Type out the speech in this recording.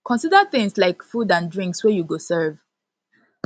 consider things like food and drinks wey you go serve